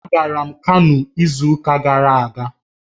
Agara m Kano izu uka gara aga